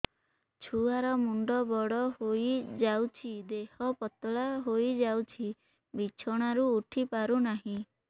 ଛୁଆ ର ମୁଣ୍ଡ ବଡ ହୋଇଯାଉଛି ଦେହ ପତଳା ହୋଇଯାଉଛି ବିଛଣାରୁ ଉଠି ପାରୁନାହିଁ